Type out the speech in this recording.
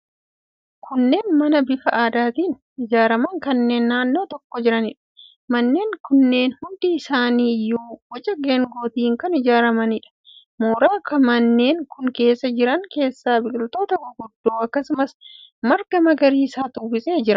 Kunneen mana bifa aadaatiin ijaaraman kan naannoo tokko jiraniidha. Manneen kunneen hundi isaanii iyyuu boca geengootiin kan ijaaramaniidha. Mooraa manneen kun keessa jiran keessa biqiltoota guguddoo, akkasumas marga magariisatu uwwisee jira.